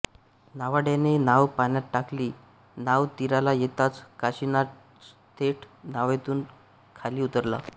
नावाड्याने नाव पाण्यात टाकली नाव तीराला येताच काशीनाथशेठ नावेतुन खाली उतरला